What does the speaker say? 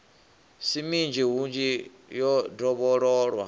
si minzhi hunzhi yo dovhololwa